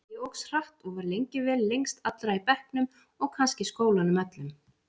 Ég óx hratt og var lengi vel lengst allra í bekknum og kannski skólanum öllum.